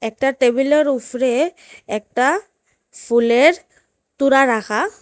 একটা টেবিলের উফরে একটা ফুলের তুড়া রাখা।